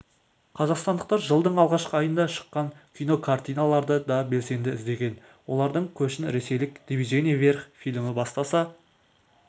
қазақстандықтар жылдың алғашқы айында шыққан кинокартиналарды да белсенді іздеген олардың көшін ресейлік движение вверх фильмі бастаса